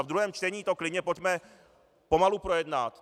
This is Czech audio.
A v druhém čtení to klidně pojďme pomalu projednat.